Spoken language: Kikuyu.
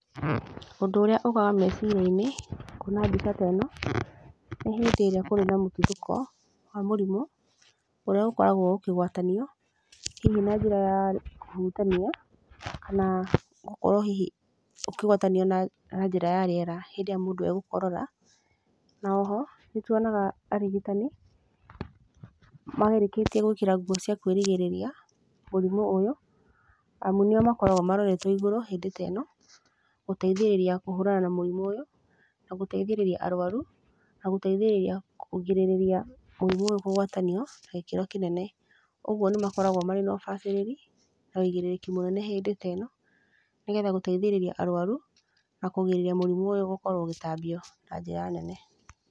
Ũndũ ũrĩa ũkaga meciria-inĩ kuona mbica ta ĩno nĩ hĩndĩ ĩrĩa kũrĩ na mũtuthũko wa mũrimũ, ũrĩa ũkoragwo ũkĩgwatanio hihi na njĩra ya kũhutania kana gũkorwo hihi ũkĩgwatanio na njĩra ya rĩera hĩndĩ ĩrĩa mũndũ egũkorora. Na oho, nĩ tuonaga arigitani marĩkĩtie gwĩkĩra nguo cia kwĩrigĩrĩria mũrimũ ũyũ amu nĩo makoragwo maroretwo igũrũ hĩndĩ ta ĩno, gũteithĩrĩria kũhũrana na mũrimũ ũyũ na gũteithĩrĩria arũaru na gũteithĩrĩria kũgirĩrĩria mũrimũ ũyũ kũgwatanio na gĩkĩro kĩnene. Ũguo nĩ makoragwo marĩ na ũbacĩrĩri na wĩigĩrĩrĩki mũnene hĩndĩ ta ĩno nĩ getha gũteithĩrĩria arũaru na kũrigĩrĩria mũrimũ ũyũ gũkorwo ũgĩtambio na njĩra nene.